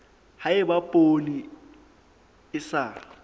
ha eba poone e sa